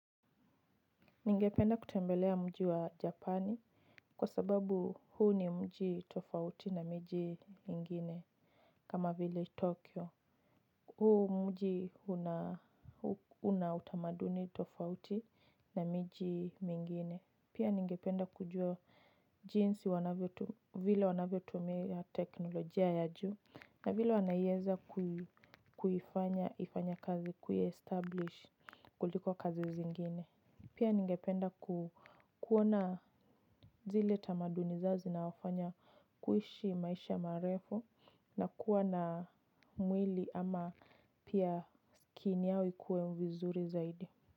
Ningependa kutembelea mji wa Japani kwa sababu huu ni mji tofauti na miji mengine kama vile Tokyo huu mji unautamaduni tofauti na miji mingine, pia ningependa kujua jinsi vile wanavyotumia teknolojia ya juu na vile wanaiweza kuifanya ifanye kazi kuiestablish kuliko kazi zingine. Pia ningependa kuona zile tamaduni zao zinaofanya kuishi maisha marefu na kuwa na mwili ama pia skin yao ikuwe vizuri zaidi.